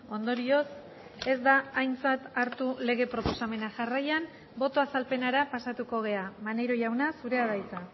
ondorioz ez da aintzat hartu lege proposamena jarraian boto azalpenera pasatuko gara maneiro jauna zurea da hitza